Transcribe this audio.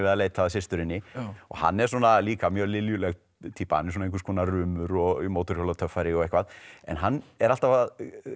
að leita að systurinni hann er líka mjög Liljuleg týpa einhvers konar rumur og mótorhjólatöffari og eitthvað en hann er alltaf að